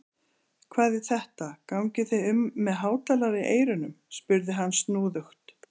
Hvað er þetta, gangið þið um með hátalara í eyrunum? spurði hann snúðugt.